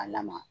A lamaga